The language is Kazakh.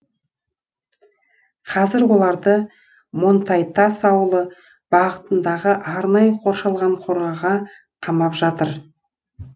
қазір оларды монтайтас ауылы бағытындағы арнайы қорашалған қораға қамап жатыр